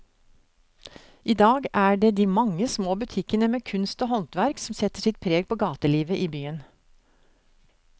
I dag er det de mange små butikkene med kunst og håndverk som setter sitt preg på gatelivet i byen.